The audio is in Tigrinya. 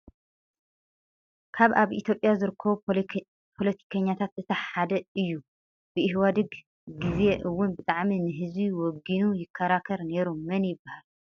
ካብ ኣብ ኢትዮጵያ ዝርከቡ ፖለቲከኛታት እቲ ሓደ እዮ ። ብኢሃደግ ግዚ እውን ብጣዕሚ ንህዝቢ ወጊኑ ይከራከር ነይሩ ። መን ይባሃል ?